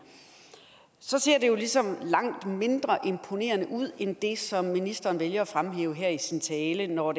så ser det jo ligesom langt mindre imponerende ud end det som ministeren vælger at fremhæve her i sin tale når